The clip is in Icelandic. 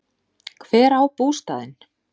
Hver á bústaðinn?